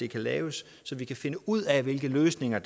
kan laves så vi kan finde ud af hvilke løsninger